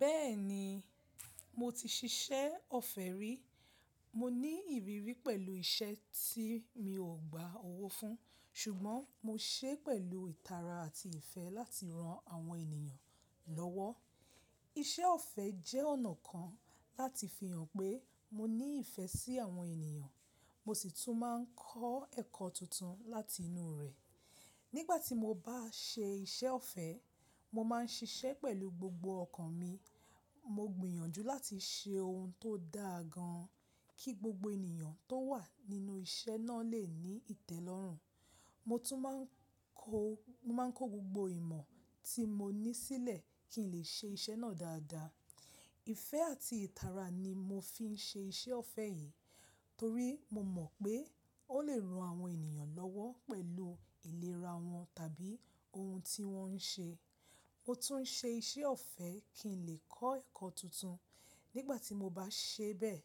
Bẹ́ẹ̀ni, mo ti ṣiṣẹ́ ọ̀fẹ́ rí. Mo ní ìrírí pẹ̀lú iṣẹ́ tí mi ò gba owó fún, ṣùgbọ́n mo ṣe pẹ̀lú ìtara àti ìfẹ́ láti ran àwọn ènìyàn lọ́wọ́. Iṣẹ́ ọ̀fẹ́ jẹ́ ọ̀nà kan láti fi hàn pé mo ní ìfẹ́ sí àwọn ènìyàn, mo sì tún máa ń kọ́ ẹ̀kọ́ tuntun láti inú rẹ̀. Nígbà tí mo bá ṣe iṣẹ́ ọ̀fẹ́, mo máa ń ṣiṣẹ́ pẹ̀lú gbogbo ọkàn mi. Mo gbìyànjú láti ṣe ohun tó dáa gan, kí gbogbo ènìyàn tó wà nínú iṣẹ́ náà lè ní ìtẹ́lọ́rùn. Mo tún máa ń kó gbogbo ìmọ̀ tí mo ní sílẹ̀ kí n lè ṣe iṣẹ́ náà dáadáa. Ìfẹ́ àti ìtara ni mo fi ń ṣe iṣẹ́ ọ̀fẹ́ yìí torí mo mọ̀ pé ó lè ran àwọn ènìyàn lọ́wọ́ pẹ̀lú ìlera wọn tàbí ohun tí wọ́n ń ṣe. Mo tún ń ṣe iṣẹ́ ọ̀fẹ́ kí n lè kọ́ ẹ̀kọ́ tuntun. Nígbà tí mo bá ṣe bẹ́ẹ̀,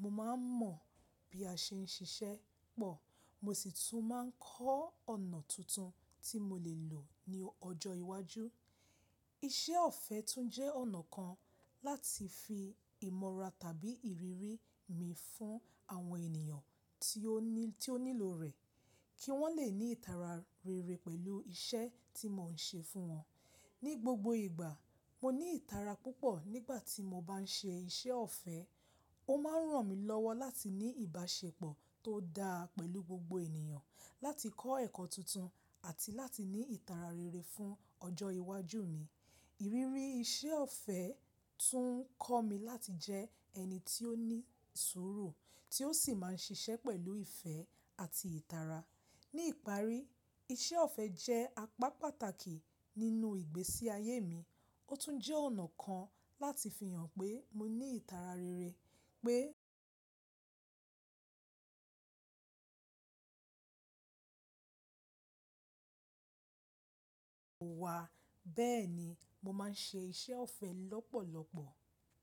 mo máa ń mọ̀ bí a ṣe ń ṣiṣẹ́ pọ̀, mo sì tún máa ń kọ́ ọ̀nà tuntun tí mo lè lò ní ọjọ́ iwájú. Iṣẹ́ ọ̀fẹ́ tún jẹ́ ọ̀nà kan láti fi ìmọ̀ra tàbí ìrírí mi fún àwọn ènìyàn tí ó nílò rẹ̀ kí wọ́n lè ní ìtara rere pẹ̀lú iṣẹ́ tí mò ń ṣe fún wọn. Ni gbogbo ìgbà, mo ní ìtara púpọ̀ nígbà tí mo bá ń ṣe iṣẹ́ ọ̀fẹ́. Ó máa ń ràn mí lọ́wọ́ láti ní ìbáṣepọ̀ tó dáa pẹ̀lú gbogbo ènìyàn, láti kọ́ ẹ̀kọ́ tuntun, àti láti ní ìtara rere fún ọjọ́ iwájú mi. Ìrírí iṣẹ́ ọ̀fẹ́ tún ń kọ́ mi láti jẹ́ ẹni tí ó ní sùúrù, tí ó sì máa ń ṣiṣẹ́ pẹ̀lú ìfẹ́ àti ìtara. Ní ìparí, iṣẹ́ ọ̀fẹ́ jẹ́ apá pàtàkì nínú ìgbésí ayé mi. Ó tún jẹ́ ọ̀nà kan láti fi hàn pé mo ní ìtara rere pé wà. Bẹ́ẹ̀ni, mo máa ń ṣe iṣẹ́ ọ̀fẹ́ lọ́pọ̀lọpọ̀.